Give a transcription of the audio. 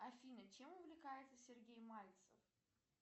афина чем увлекается сергей мальцев